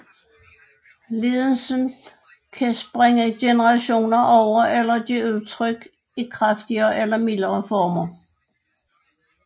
Lidelsen kan springe generationer over eller give sig udtryk i kraftigere eller mildere former